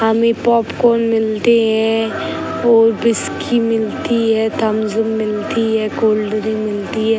हमें पॉपकॉर्न मिलती है और विस्की मिलती है थम्स अप मिलती है कोल्ड्रिंक मिलती है।